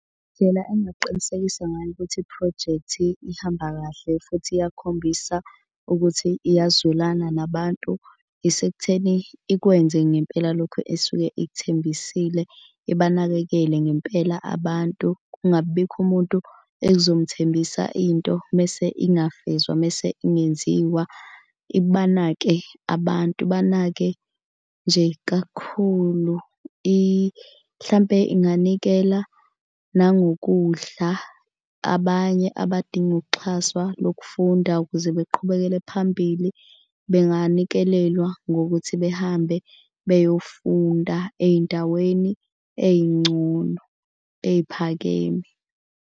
Indlela engingaqinisekisa ngayo ukuthi iphrojekthi ihamba kahle futhi iyakhombisa ukuthi iyazwelana nabantu isekutheni ikwenze ngempela lokhu esuke ikuthembisile. Ibanakekele ngempela abantu kungabibikho umuntu ekuzomthembisa into mese ingafezwa, mese ingenziwa. Ibanake abantu ibanake nje kakhulu hlampe inganikela nangokudlala. Abanye abadinga ukuxhaswa lokufunda ukuze beqhubekele phambili benganikelelwa ngokuthi behambe beyofunda ey'ndaweni ey'ngcono eyiphakeme.